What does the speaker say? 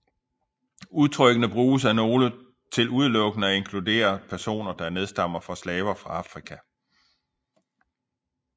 Udtrykkene bruges af nogle til udelukkende at inkludere de personer der nedstammer fra slaver fra Afrika